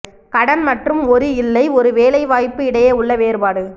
கடன் மற்றும் ஒரு இல்லை ஒரு வேலைவாய்ப்பு இடையே உள்ள வேறுபாடு